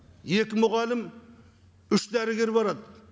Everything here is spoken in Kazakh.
екі мұғалім үш дәрігер барады